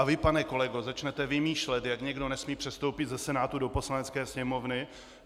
A vy, pane kolego, začnete vymýšlet, jak někdo nesmí přestoupit ze Senátu do Poslanecké sněmovny.